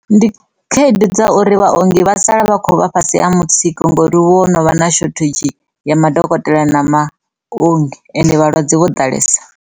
Ndi khaedu dza uri vhuongi vha sala vha kho vha fhasi ha mutsiko ngori hu vha ho no vha na shothadzhi ya madokotela na maongi ende vhalwadze vho ḓalesa.